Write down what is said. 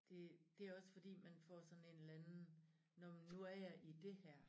Det det også fordi man får sådan en eller anden nå men nu er jeg i dét her